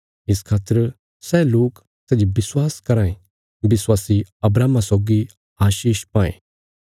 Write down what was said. इस खातर सै लोक सै जे विश्वास कराँ ये विश्वासी अब्राहमा सौगी आशीष पायें